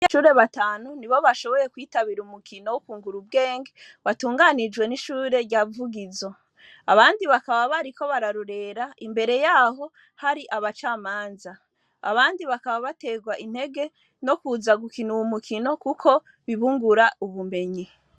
E shure batanu ni bo bashoboye kwitabira umukino wo ukungura ubwenge batunganirijwe n'ishure ryavugizo abandi bakaba bari ko bararurera imbere yaho hari abacamanza abandi bakaba baterwa intege no kuza gukina uwa umukino, kuko bibungura ubumenyi.